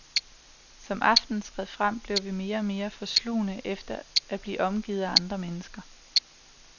Som aftenen skred frem, blev vi mere og mere forslugne efter at blive omgivet af andre mennesker.